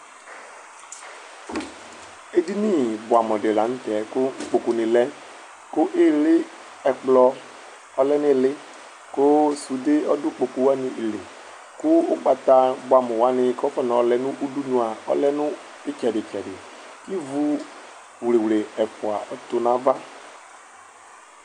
edini boɛ amo di lantɛ ko ikpoku ni lɛ ko ili ɛkplɔ ɔlɛ no ili ko sude ɔdo ikpoku wani li kò ugbata boɛ amo wa ni ko afɔna ɔlɛ no udunu ɔlɛ no itsɛdi tsɛdi kò ivu wliwli ɛfua ɔtu n'ava